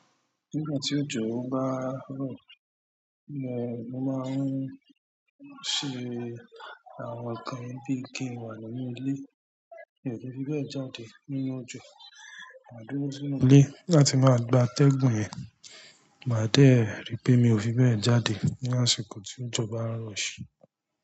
Nígbà tí òjò bá ń rọ̀, mo máa ń ṣe àwọn ǹkan bíi kí ń wà nínú ilé, mi ò ki n fi bẹ́ẹ̀ jáde nínú òjò. Máa dúró sínú ilé láti máa gba ategun yẹn, màá dẹ̀ rì pé mi ò fi bẹ́ẹ̀ jáde ní àsìkò tí òjò bá ń rọ̀ ṣe.